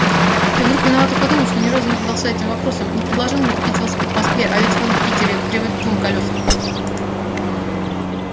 я вдруг виновато подумал что ни разу не задался этим вопросом не предложил ему купить велосипед в москве а ведь он в питере привык к двум колёсам